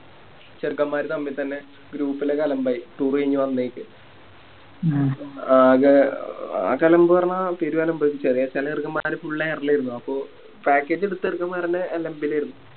ചെറുക്കൻമ്മാർ തമ്മിൽ തന്നെ Group ലോക്കെ അലമ്പായി Toure കയിഞ്ഞ് വന്ന വയിക്ക് ആകെ ആകെ അലമ്പ് പറഞ്ഞ പേരും അലമ്പായി ചെല ചെല ചെറുക്കൻമ്മാരോക്കെ Full air ലായിരുന്നു Package എടുത്ത ചെറുക്കൻമ്മാരാന്നെ